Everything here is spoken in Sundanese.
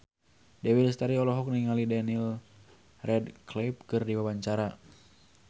Dewi Lestari olohok ningali Daniel Radcliffe keur diwawancara